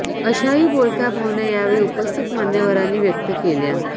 अशाही बोलक्या भावना यावेळी उपस्थित मान्यवरांनी व्यक्त केल्या